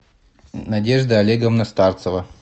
надежда олеговна старцева